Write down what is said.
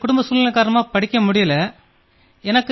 என் குடும்பச் சூழ்நிலை காரணமாக என்னால் மேலே படிக்க முடியவில்லை